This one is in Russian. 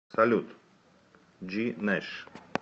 салют джинэш